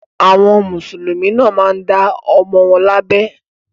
Àwọn Mùsùlùmí náà máa ń dá àwọn ọmọ wọn lábẹ.